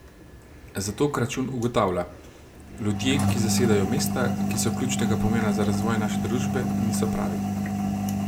Zato Kračun ugotavlja: 'Ljudje, ki zasedajo mesta, ki so ključnega pomena za razvoj naše družbe, niso pravi.